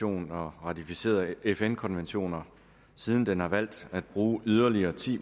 og ratificerede fn konventioner siden den har valgt at bruge yderligere ti